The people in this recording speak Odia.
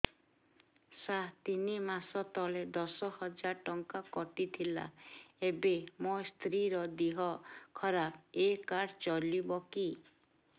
ସାର ତିନି ମାସ ତଳେ ଦଶ ହଜାର ଟଙ୍କା କଟି ଥିଲା ଏବେ ମୋ ସ୍ତ୍ରୀ ର ଦିହ ଖରାପ ଏ କାର୍ଡ ଚଳିବକି